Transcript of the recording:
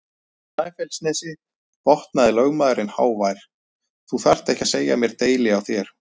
Snæfellsnesi, botnaði lögmaðurinn hávær,-þú þarft ekki að segja mér deili á þér!